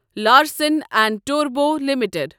Larsen and Toubro limited